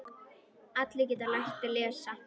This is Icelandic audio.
Allir geta lært að lesa.